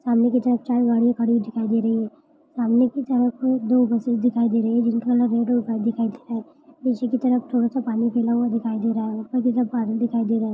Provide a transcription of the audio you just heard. सामने की तरफ चार गाडिया खड़ी हुई दिखाई दे रही है। सामने की तरफ दो बसेस दिखाई दे रही है। जिनका कलर रेड और व्हाइट दिखाई दे रहे। नीचे की तरफ थोड़ा सा पानी गीला हुआ दिखाई दे रहा है उपर कि तरफ बादल दिखाई दे रहे है।